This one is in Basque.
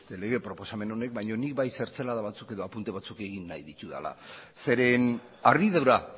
lege proposamen honek baino nik bai zertzelada batzuk edo apunte batzuk egin nahi ditudala zeren harridura